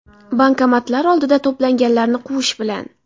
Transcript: Bankomatlar oldida to‘planganlarni quvish bilan.